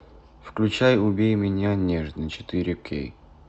включай убей меня нежно четыре кей